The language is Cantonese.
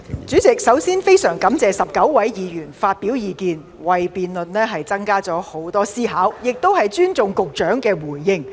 主席，首先我非常感謝19位議員發表意見，為辯論增添很多思考的空間，我亦尊重局長的回應。